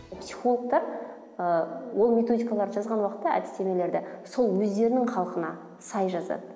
психологтар ыыы ол методикаларды жазған уақытта әдістемелерді сол өздерінің халқына сай жазады